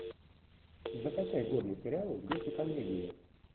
закачай годный сериал в духе комедии